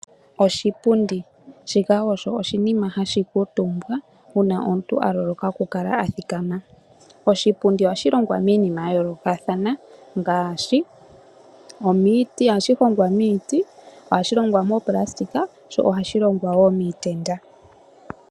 Oshipundi, shika osho oshinima hashi kuutumbwa una omuntu aloloka oku kala athikama. Oshipundi ohashi longwa miinima ya yolokathana ngashi omiti hano hashi hongwa miiti, ohashi longwa moplastika sho ohashi longwa wo miitenda.